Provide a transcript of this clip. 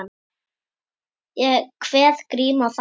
Ég kveð Grím og þakka.